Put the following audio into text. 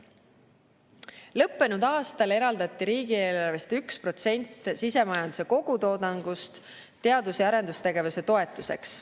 Lõppenud aastal eraldati riigieelarvest 1% sisemajanduse kogutoodangust teadus‑ ja arendustegevuse toetuseks.